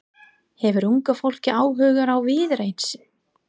Hefur unga fólkið áhuga á Viðreisn?